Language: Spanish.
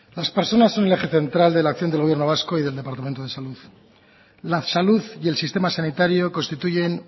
las personas son el eje central de la acción del gobierno vasco y del departamento de salud la salud y el sistema sanitario constituyen